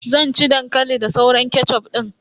Zan ci dankali da sauran kechuf din.